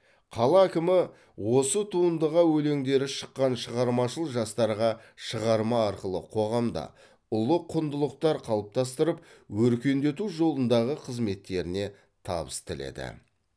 қала әкімі осы туындыға өлеңдері шыққан шығармашыл жастарға шығарма арқылы қоғамда ұлы құндылықтар қалыптастырып өркендету жолындағы қызметтеріне табыс тіледі